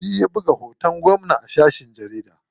Shi ya buga hoton gwamna a shafin jarida.